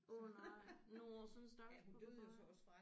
Åh nej nåh sådan en stakkels papegøje